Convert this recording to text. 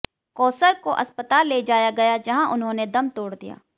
कौसर को अस्पताल ले जाया गया जहां उन्होंने दम तोड़ दिया